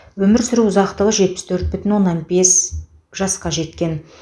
өмір сүру ұзақтығы жетпіс төрт бүтін оннан бес жасқа жеткен